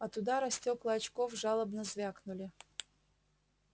от удара стекла очков жалобно звякнули